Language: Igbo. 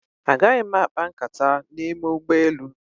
Agaghị m akpa nkata n'ime ụgbọelu.